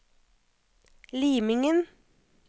Limingen